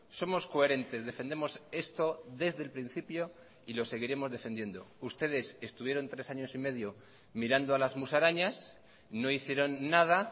somos coherentes defendemos esto desde el principio y lo seguiremos defendiendo ustedes estuvieron tres años y medio mirando a las musarañas no hicieron nada